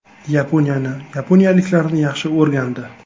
Yaponiyani, yaponiyaliklarni yaxshi o‘rgandi.